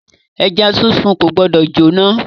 Ẹja sísun ko gbọdọ jóná.